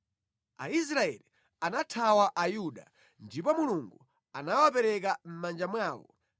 Aisraeli anathawa Ayuda. Ndipo Mulungu anawapereka mʼmanja mwawo.